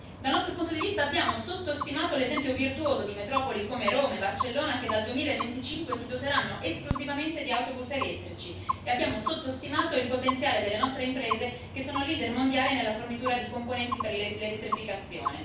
Dal nostro punto di vista abbiamo sottostimato l'esempio virtuoso di metropoli come Roma e Barcellona, che dal 2025 si doteranno esclusivamente di autobus elettrici, e abbiamo sottostimato il potenziale delle nostre imprese, che sono leader mondiali nella fornitura di componenti per l'elettrificazione.